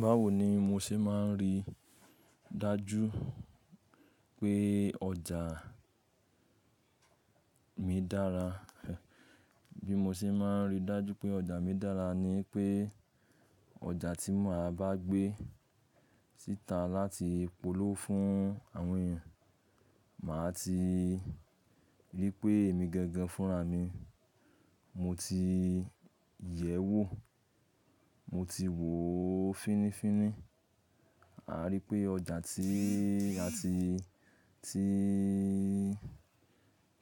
Báwo ni mo ṣe máa ń rí dájú pé ọjà mi dára. Bí mo ṣe máa ń rí dájú pé ọjà mi dára ni pé ọjà tí mo máa bá gbé síta láti polówó fún àwọn èèyàn, màá ti rí pé èmi gangan fúnra mi, mo ti yẹ̀ ẹ́ wò, mo ti wò ó fínnífínní. A rí pé ọjà tí a ti, tí,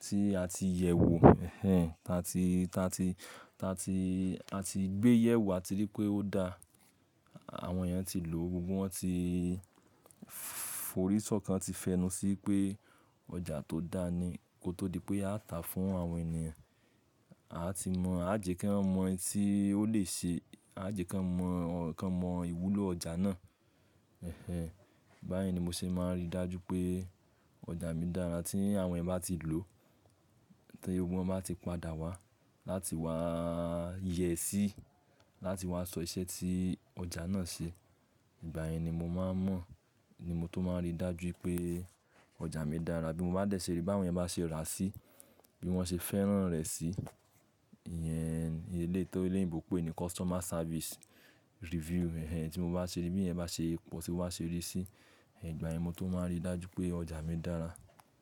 tí a ti yẹ̀ ẹ́ wò, ẹh ẹh, ta tí, ta tí, ta tí, a ti gbé yẹ̀ ẹ́ wò, a ti rí pé ó dáa, àwọn èèyàn ti lò ó, gbogbo wọn ti forí ṣọ̀kan ti fẹnu sí pé ọjà tó dáa ni, kó tó di pé a tà á fún àwọn ènìyàn. A ti mọ̀, a jẹ̀ kí wọ́n mọ̀ tí ó lè ṣe, a jẹ̀ kí wọ́n mọ̀, kí wọ́n mọ ìwúlò ọjà náà. Ẹh ẹh, báyìí ni mo ṣe máa ń rí dájú pé ọjà mi dára. Tí àwọn èèyàn bá ti lò ó, tí gbogbo wọn bá ti padà wá láti wá yẹ sí, láti wá sọ iṣẹ́ tí ọjà náà ṣe, ìgbà yẹn ni mo máa ń mọ̀, ni mo tó máa ń rí dájú pé ọjà mi dára. Bí mo bá dẹ̀ ṣe rí bí àwọn èèyàn bá ṣe rà á sí, bí wọ́n ṣe fẹ́ràn rẹ̀ sí, ìyẹn eléyii to teleyinbo n pé ni customer service review. Ẹh ẹh, tí mo bá ṣe rí bí iyen bá ṣe pọ̀, tí wọ́n bá ṣe rí sí, ìgbà yẹn mo tó máa rí dájú pé ọjà mi dára.